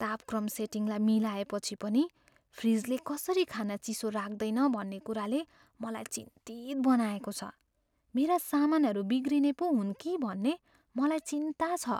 तापक्रम सेटिङलाई मिलाएपछि पनि फ्रिजले कसरी खाना चिसो राख्दैन भन्ने कुराले मलाई चिन्तित बनाएको छ, मेरा सामानहरू बिग्रने पो हुन् कि भन्ने मलाई चिन्ता छ।